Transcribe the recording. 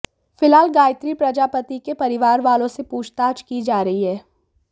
फिलहाल गायत्री प्रजापति के परिवारवालों से पूछताछ की जा रही है